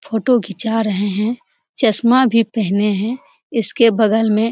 photo खींचा रहे हैं चश्मा भी पहने हैं इसके बगल में --